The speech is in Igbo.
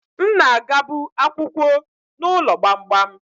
M na-agabu akwukwo n'ụlọ gbamgbam